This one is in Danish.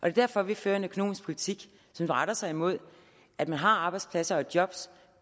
er derfor at vi fører en økonomisk politik som retter sig imod at man har arbejdspladser og job